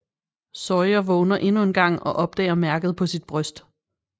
Sawyer vågner endnu en gang og opdager mærket på sit bryst